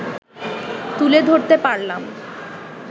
তুলে ধরতে পারলাম